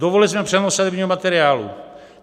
Dovolili jsme převoz sadebního materiálu.